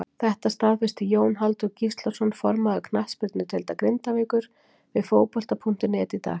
Þetta staðfesti Jón Halldór Gíslason formaður knattspyrnudeildar Grindavíkur við Fótbolta.net í dag.